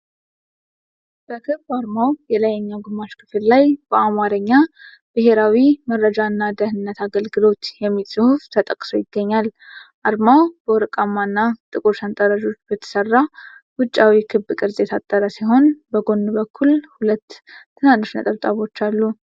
በክብ አርማው የላይኛው ግማሽ ክፍል ላይ በዐማርኛ "ብሔራዊ መረጃና ደህንነት አገልግሎት" የሚል ጽሑፍ ተጠቅሶ ይገኛል። አርማው በወርቃማና ጥቁር ሰንጠረዦች በተሰራ ውጫዊ ክብ ቅርጽ የታጠረ ሲሆን፣ በጎን በኩል ሁለት ነጭ ትናንሽ ነጥቦች አሉ።